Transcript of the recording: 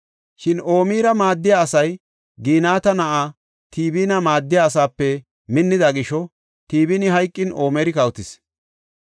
Shin Omira maaddiya asay Ginata na7aa Tibina maaddiya asaape minnida gisho Tibini hayqin Omiri kawotis.